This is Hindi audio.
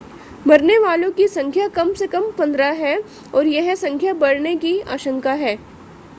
मरने वालों की संख्या कम से कम 15 है और यह संख्या बढ़ने की आशंका है